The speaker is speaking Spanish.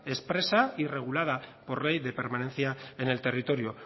expresa y regulada por ley de permanencia en el territorio